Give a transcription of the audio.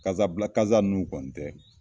Kasabila kasa nun kɔni tɛ